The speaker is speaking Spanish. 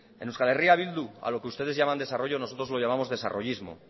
en euskal herria bildu a lo que ustedes llaman desarrollo nosotros lo llamamos desarrollismo